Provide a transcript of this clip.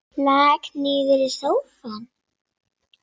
Lak niður í sófann.